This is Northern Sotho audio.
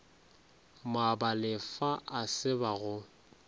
moabalefa a se ba go